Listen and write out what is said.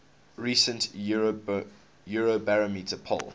recent eurobarometer poll